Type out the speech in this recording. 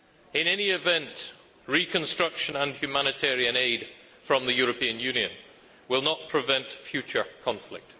In any event, reconstruction and humanitarian aid from the European Union will not prevent future conflict.